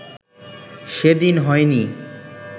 সেদিন হয় নি